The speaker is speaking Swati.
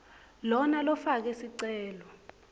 lona lofake sicelo